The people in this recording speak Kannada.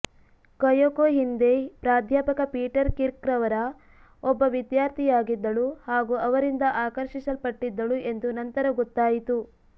ಕಯಕೊ ಹಿಂದೆ ಪ್ರಾಧ್ಯಾಪಕ ಪೀಟರ್ ಕಿರ್ಕ್ ರವರ ಒಬ್ಬ ವಿದ್ಯಾರ್ಥಿಯಾಗಿದ್ದಳು ಹಾಗೂ ಅವರಿಂದ ಆಕರ್ಶಿಸಲ್ಪಟ್ಟಿದ್ದಳು ಎಂದು ನಂತರ ಗೊತ್ತಾಯಿತು